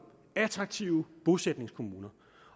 attraktive bosætningskommuner